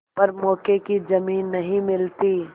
पर मौके की जमीन नहीं मिलती